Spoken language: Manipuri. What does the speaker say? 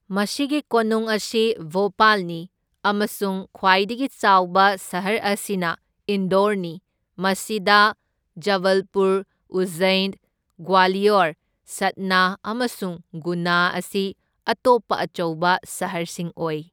ꯃꯁꯤꯒꯤ ꯀꯣꯅꯨꯡ ꯑꯁꯤ ꯚꯣꯄꯥꯜꯅꯤ, ꯑꯃꯁꯨꯡ ꯈ꯭ꯋꯥꯏꯗꯒꯤ ꯆꯥꯎꯕ ꯁꯍꯔ ꯑꯁꯤꯅ ꯏꯟꯗꯣꯔꯅꯤ, ꯃꯁꯤꯗ ꯖꯕꯜꯄꯨꯔ, ꯎꯖꯖꯩꯟ, ꯒ꯭ꯋꯥꯂꯤꯌꯣꯔ, ꯁꯠꯅꯥ, ꯑꯃꯁꯨꯡ ꯒꯨꯅꯥ ꯑꯁꯤ ꯑꯇꯣꯞꯄ ꯑꯆꯧꯕ ꯁꯍꯔꯁꯤꯡ ꯑꯣꯏ꯫